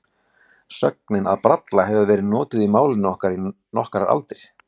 Sögnin að bralla hefur verið notuð í málinu í nokkrar aldir.